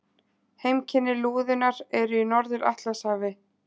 Heimkynni lúðunnar eru í Norður-Atlantshafi.